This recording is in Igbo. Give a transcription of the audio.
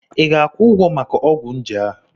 Ị ga-akwụ ụgwọ maka ọgwụ njé a?